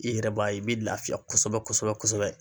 I yɛrɛ b'a ye i bɛ lafiya kosɛbɛ kosɛbɛ kosɛbɛ kosɛbɛ.